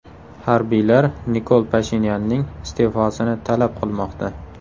Harbiylar Nikol Pashinyanning iste’fosini talab qilmoqda.